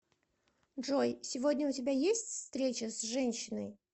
джой сегодня у тебя есть встреча с женщиной